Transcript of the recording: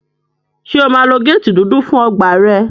Ṣé o máa lo géètì dúdú fún ọgbà rẹ?